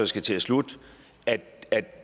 skal til at slutte at